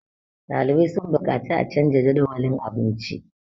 ɗalibai sun buƙaci a canja Jadawalin abinci